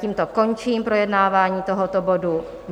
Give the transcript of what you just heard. Tímto končím projednávání tohoto bodu.